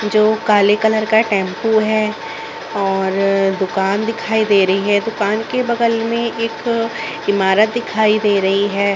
जो काले कलर का टेम्पू हैं और दुकान दिखाई दे रही हैं दुकान के बगल में एक इमारत दिखाई दे रही हैं।